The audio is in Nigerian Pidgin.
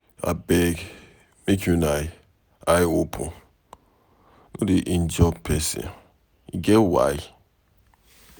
Abeg make una eye open, no dey injure person. E get why.